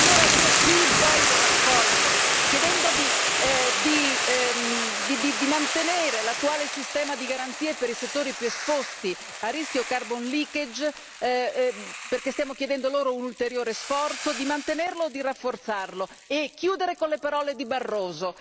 Allora, io qui voglio raccogliere, chiedendovi di mantenere l'attuale sistema di garanzie per i settori più esposti a rischio carbon leakage perché stiamo chiedendo loro un ulteriore sforzo, di mantenerlo o di rafforzarlo e chiudere con le parole di Barroso.